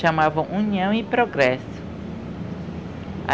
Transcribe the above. chamavam União e Progresso.